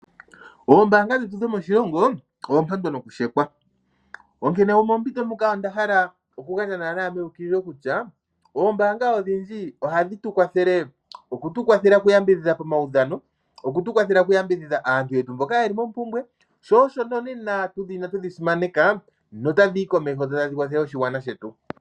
Oombaanga dhetu dhomoshilongo oompandwa nooshekwa, onkene nomompito ndjika onda hala okugandja meukililo kutya oombaanga odhindji ohadhi tu kwathele. Ohadhi tu kwathele okuyambidhidha pomaudhano, okutu kwathela okuyambidhidha aantu yetu mboka ye li mompumbwe, sho osho nonena tudhi na twedhi simaneka notadhi yi komeho dho tadhi kwathele oshigwana shetu.